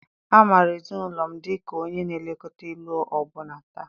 A maara ezinụlọ m dị ka onye na-elekọta ilu ọbụna taa.